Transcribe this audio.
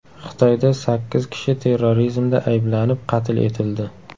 Xitoyda sakkiz kishi terrorizmda ayblanib, qatl etildi.